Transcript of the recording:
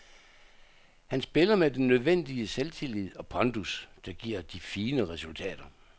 Han spiller med den nødvendige selvtillid og pondus, der giver de fine resultater.